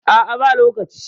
a a ba lokaci